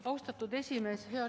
Austatud esimees!